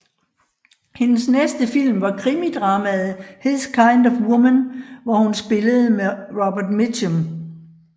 Hendes næste film var krimidramaet His kind of Woman hvor hun spillede med Robert Mitchum